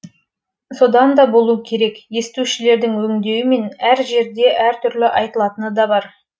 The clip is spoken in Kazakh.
содан да болу керек естушілердің өңдеуімен әр жерде әртүрлі айтылатыны да бар